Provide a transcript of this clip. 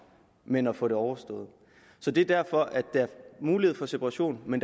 men få det overstået så det er derfor at der er mulighed for separation men